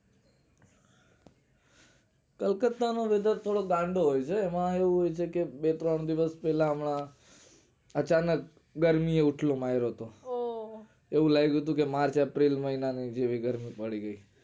કલકત્તા નો weather થોડો ગાંડો હોય છે એમાં એવું છે કે બે ત્રણ દિવસ પેલા હમણાં અચાનક ગરમી એ ઉથલો મારિયો તો ઓહ હો એવું લાયગું તું કે march april મહિના ની જેવી ગરમી પડી તી